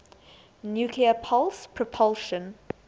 nuclear pulse propulsion